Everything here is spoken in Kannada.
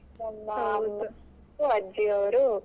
ಅಜ್ಜಿಯರು ಅಷ್ಟೇ .